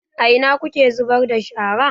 A ina kuke zubar da shara?